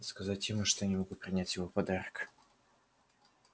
сказать ему что я не могу принять его подарок